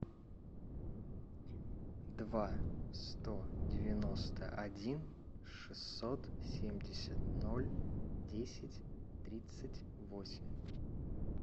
два сто девяносто один шестьсот семьдесят ноль десять тридцать восемь